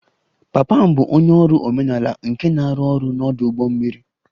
Papa m bụ onye ọrụ omenala nke na-arụ ọrụ n'ọdụ ụgbọ mmiri